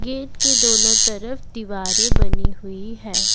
Gate के दोनों तरफ दीवारें बनी हुई है।